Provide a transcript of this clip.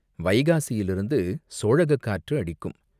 வைகாசியிலிருந்து சோழகக் காற்று அடிக்கும்.